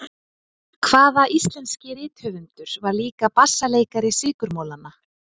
Hvaða íslenski rithöfundur var líka bassaleikari Sykurmolanna?